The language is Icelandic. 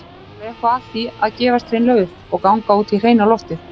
Var eitthvað að því að gefast hreinlega upp- og ganga út í hreina loftið?